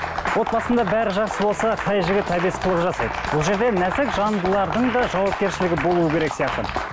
отбасында бәрі жақсы болса қай жігіт әбес қылық жасайды бұл жерде нәзік жандылардың да жауапкершілігі болуы керек сияқты